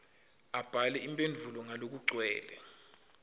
abhale imphendvulo ngalokugcwele